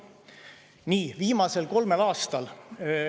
Nii, viimasel kolmel aastal …